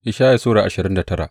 Ishaya Sura ashirin da tara